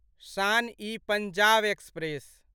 शान ई पंजाब एक्सप्रेस